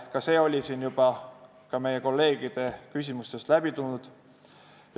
Ka see teema on siin juba kolleegide küsimustest läbi käinud.